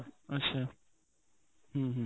ଆଛା, ହୁଁ ହୁଁ